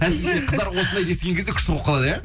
әсіресе қыздар осындайды естіген кезде күшті болып қалады иә